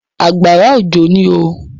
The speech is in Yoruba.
Àgbàrá òjò ní oo.